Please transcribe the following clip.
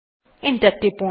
enter টিপুন